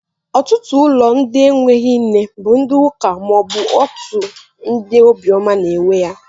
Otutu ulo ndi eweghi nne bu ndi uka maobu otu ndi obioma n'ewe ya